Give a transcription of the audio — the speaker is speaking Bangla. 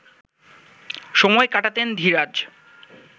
সময় কাটাতেন ধীরাজ